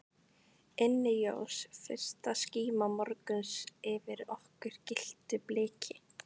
Inni jós fyrsta skíma morguns yfir okkur gylltu bliki.